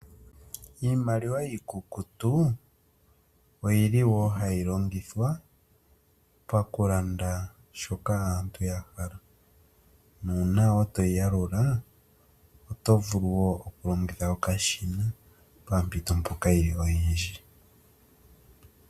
Iimaliwa iikukutu oyili wo hayi longithwa okulanda shoka aantu ya hala nuuna toyi yalula oto vulu okulongitha okashina pompito mpoka yi li oyindji.